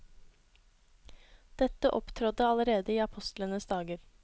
Dette opptrådte allerede i apostlenes dager.